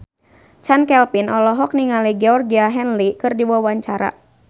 Chand Kelvin olohok ningali Georgie Henley keur diwawancara